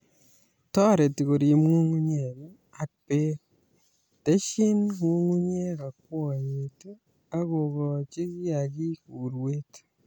Toreti koriib nyung'unyek ak beek ,teshin nyung'unyek akwoiyet akokoji kiagik urweet